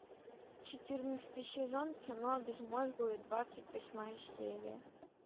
четырнадцатый сезон кино безмозглые двадцать восьмая серия